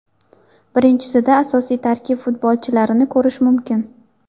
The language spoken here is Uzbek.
Birinchisida asosiy tarkib futbolchilarini ko‘rish mumkin.